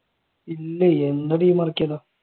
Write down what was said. ഇല്ല എന്ത്